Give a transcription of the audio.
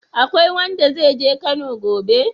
Akwai wanda zai je Kano gobe?